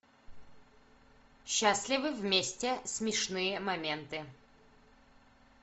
счастливы вместе смешные моменты